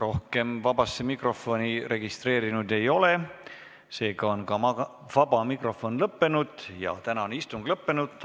Rohkem vabasse mikrofoni registreerunuid ei ole, seega on vaba mikrofon lõppenud ja ka tänane istung lõppenud.